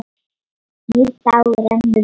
Nýr dagur rennur upp.